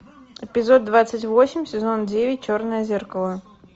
эпизод двадцать восемь сезон девять черное зеркало